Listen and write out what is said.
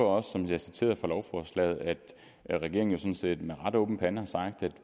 også som jeg citerede fra lovforslaget at regeringen sådan set med ret åben pande har sagt at